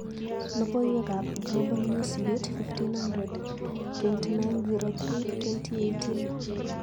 Logoiywekab Global Newsbeat 1500 29/03/2018.